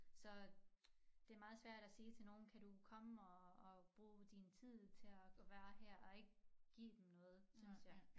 Så det meget svært at sige til nogen kan du komme og og bruge din tid til at være her og ikke give dem noget synes jeg